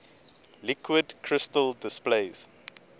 liquid crystal displays